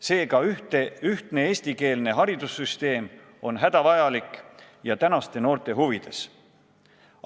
Seega on ühtne eestikeelne haridussüsteem hädavajalik ja tänaste noorte huvides.